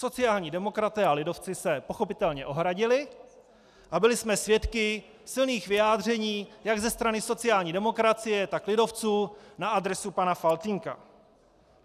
Sociální demokraté a lidovci se pochopitelně ohradili a byli jsme svědky silných vyjádření jak ze strany sociální demokracie, tak lidovců na adresu pana Faltýnka.